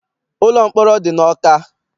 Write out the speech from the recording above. Ụlọ mkpọrọ dị n'Ọka.